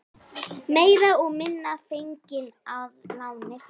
Meira og minna fengin að láni frá